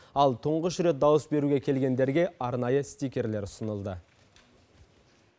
ал тұңғыш рет дауыс беруге келгендерге арнайы стикерлер ұсынылды